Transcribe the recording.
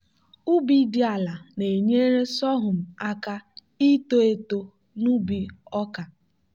ubi dị ala na-enyere sorghum aka ito eto n'ubi ọka.